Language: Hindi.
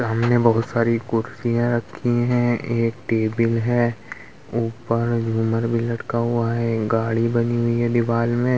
सामने बहुत सारी कुर्सियां रखी है एक टेबल है ऊपर झूमर भी लटका हुआ है गाड़ी बनी हुई है दीवाल में--